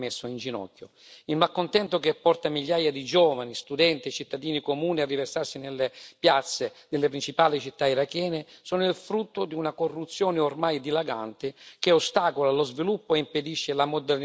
Il malcontento che porta migliaia di giovani studenti e cittadini comuni a riversarsi nelle piazze delle principali città irachene è il frutto di una corruzione ormai dilagante, che ostacola lo sviluppo e impedisce la modernizzazione del paese.